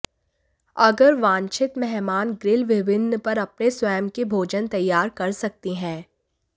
अगर वांछित मेहमान ग्रिल विभिन्न पर अपने स्वयं के भोजन तैयार कर सकते हैं